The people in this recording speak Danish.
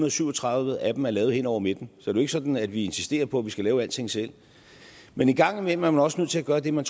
og syv og tredive af dem er lavet hen over midten så det ikke sådan at vi insisterer på at vi skal lave alting selv men en gang imellem er man også nødt til at gøre det man